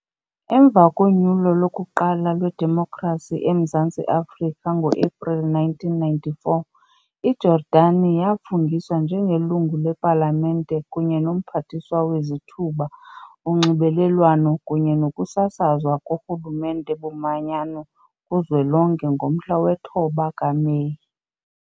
Emva konyulo lokuqala lwedemokhrasi eMzantsi Afrika ngo-Epreli 1994, iJordani yafungiswa njengeLungu lePalamente kunye noMphathiswa weZithuba, uNxibelelwano kunye nokusasazwa koRhulumente boManyano kuZwelonke ngomhla we-9 kaMeyi.